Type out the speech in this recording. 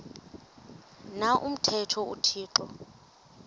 na umthetho uthixo